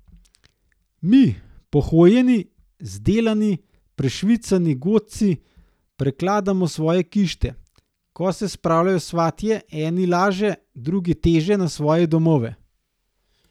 Mi, pohojeni, zdelani, prešvicani godci prekladamo svoje kište, ko se spravljajo svatje, eni laže, drugi teže na svoje domove.